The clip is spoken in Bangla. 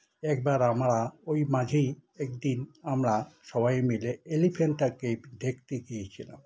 একবার আমরা ওই মাঝেই একদিন আমরা সবাই মিলে এলিফ্যান্টা কেভ দেখতে গিয়েছিলাম